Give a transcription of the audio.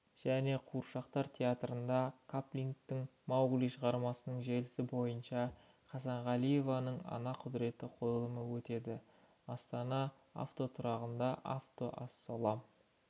және қуыршақтар театрында киплингтің маугли шығармасының желісі бойынша хасанғалиеваның ана құдіреті қойылымы өтеді астана автотұрағында автоаслалом